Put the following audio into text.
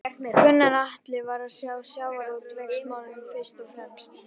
Gunnar Atli: Var það sjávarútvegsmálin fyrst og fremst?